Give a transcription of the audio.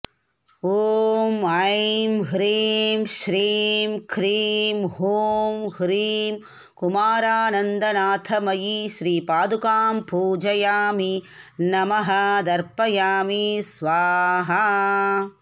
ॐ ऐं ह्रीं श्रीं क्रीं हूं ह्रीं कुमारानन्दनाथमयी श्रीपादुकां पूजयामि नमः तर्पयामि स्वाहा